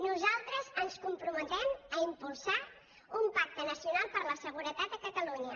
nosaltres ens comprometem a impulsar un pacte nacional per la seguretat a catalunya